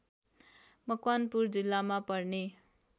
मकवानपुर जिल्लामा पर्ने